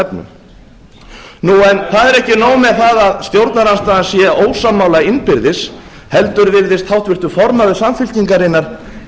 efnum það er ekki nóg með það að stjórnarandstaðan sé ósammála innbyrðis heldur virðist háttvirtur formaður samfylkingarinnar